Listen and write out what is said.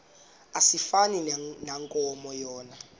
asifani nankomo yona